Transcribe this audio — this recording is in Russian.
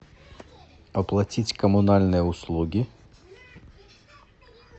оплатить коммунальные услуги